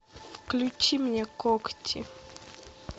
включи мне когти